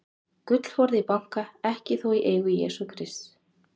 Gullforði í banka, ekki þó í eigu Jesú Krists.